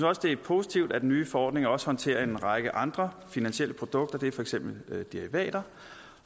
også det er positivt at den nye forordning også håndterer en række andre finansielle produkter det er for eksempel derivater